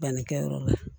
Bannikɛyɔrɔ la